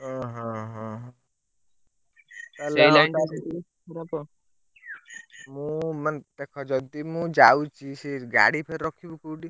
ଓହୋହ ସେଇ line ଟା ମୁଁ ମାନେ ଦେଖ ଯଦି ମୁଁ ଯାଉଛି ସେ ଗାଡି ଫେରେ ରଖିବି କୋଉଠି?